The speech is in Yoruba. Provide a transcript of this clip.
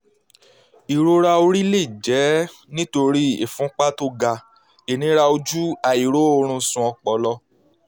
ìrora orí lè jẹ́ nítorí ìfúnpá tó ga ìnira ojú àìróorunsùn ọpọlọ